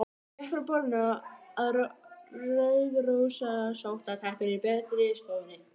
Hjá heilbrigðu fólki væri kynlíf tjáning ástar.